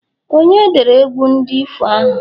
onye dere egwu ndi ifo ahụ?